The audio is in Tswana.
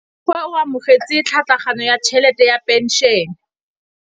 Rragwe o amogetse tlhatlhaganyô ya tšhelête ya phenšene.